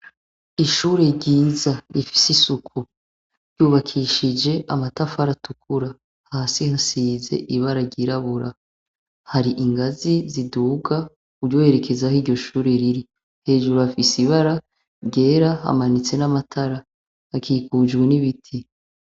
Ishure ryiza rifise isuku ryubakishije amatafari atukura hasi hasize ibara ryirabura, hari ingazi ziduga uryoherekeza aho iryo shure riri, hejuru hafise ibara ryera hamanitse n'amatara, hakikujwe n'ibiti.